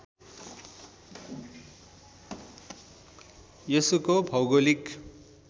यसको भौगोलिक